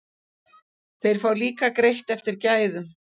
Þeir fá líka greitt eftir gæðum.